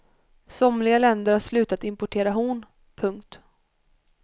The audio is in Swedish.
Somliga länder har slutat importera horn. punkt